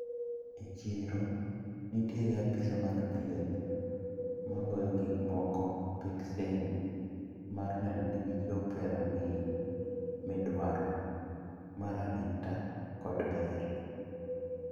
E chiro nitiere apisa mag thieth magoyo gikmoko peksen mar neno ni gichop e rang`iny midwaro mar arita kod ber.